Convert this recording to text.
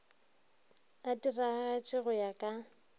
e diragatše go ya ka